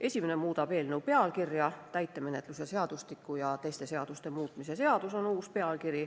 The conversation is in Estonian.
Esimene muudab eelnõu pealkirja, uus pealkiri on "Täitemenetluse seadustiku ja teiste seaduste muutmise seadus".